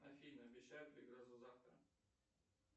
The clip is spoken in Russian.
афина обещают ли грозу завтра